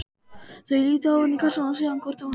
Þau líta ofan í kassann og síðan hvort á annað.